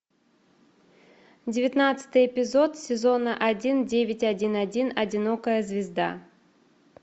девятнадцатый эпизод сезона один девять один один одинокая звезда